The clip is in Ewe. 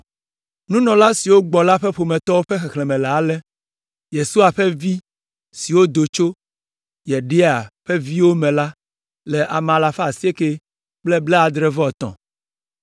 Nunɔla siwo gbɔ la ƒe ƒometɔwo ƒe xexlẽme le ale: (Yesua ƒe vi siwo do tso) Yedaia ƒe viwo me la le ame alafa asiekɛ kple blaadre-vɔ-etɔ̃ (973).